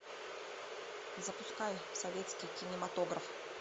запускай советский кинематограф